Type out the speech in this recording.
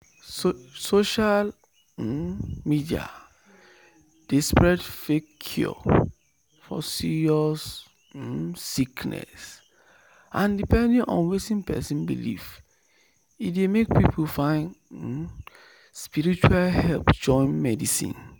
social um media dey spread fake cure for serious um sickness and depending on wetin person believe e dey make people find um spiritual help join medicine."